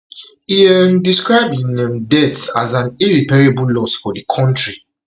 e um describe um im death as an irreparable loss for di kontri